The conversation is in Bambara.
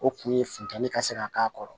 O kun ye funteni ka se ka k'a kɔrɔ